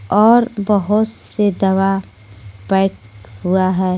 और बहुत से दवा पैक हुआ है।